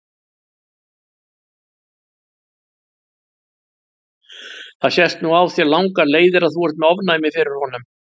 Það sést nú á þér langar leiðir að þú ert með ofnæmi fyrir honum.